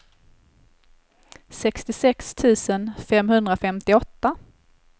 sextiosex tusen femhundrafemtioåtta